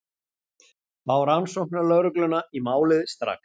Fá rannsóknarlögregluna í málið strax.